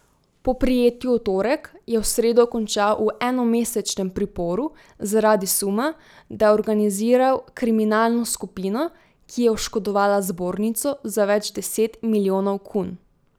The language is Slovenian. Po prijetju v torek je v sredo končal v enomesečnem priporu zaradi suma, da je organiziral kriminalno skupino, ki je oškodovala zbornico za več deset milijonov kun.